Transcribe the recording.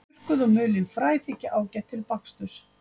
Þurrkuð og mulin fræ þykja ágæt til baksturs.